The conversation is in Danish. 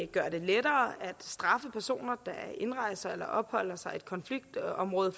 gøre det lettere at straffe personer der indrejser eller opholder sig i et konfliktområde